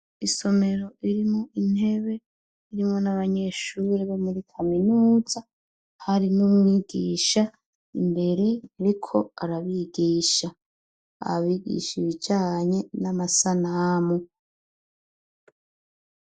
Isomero irimwo intebe irimwo n'abanyeshure bo muri kaminuza, hari n'umwigisha imbere ariko arabigisha. Abigisha ibijanye n'amasanamu.